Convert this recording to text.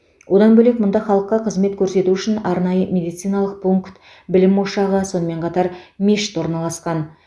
одан бөлек мұнда халыққа қызмет көрсету үшін арнайы медициналық пункт білім ошағы сонымен қатар мешіт орналасқан